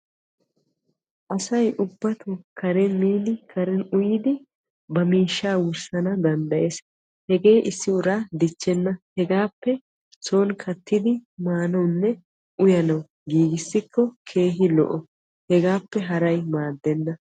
asay ubbatoo karen miidi karen uyyidi ba miishsha wurssna danddayees. hegee issi uraa dichchena hegaappe soon kattidi maanawunne uyyanaw giigissikko daro lo''o hegappe haray maaddena.